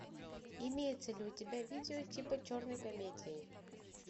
имеется ли у тебя видео типа черной комедии